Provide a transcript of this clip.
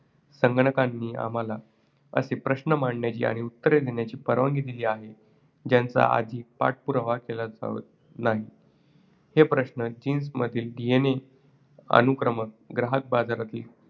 संगणकांनी आम्हाला असे प्रश्न मांडण्याची आणि उत्तरे देण्याची परवानगी दिली आहे ज्यांचा आधी पाठपुरावा केला नाही. हे प्रश्न jeans मधील DNA अनुक्रम, ग्राहक बाजारातील